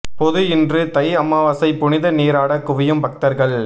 பொது இன்று தை அமாவாசை புனித நீராட குவியும் பக்தர்கள்